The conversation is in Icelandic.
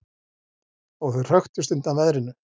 Og þau hröktust undan veðrinu.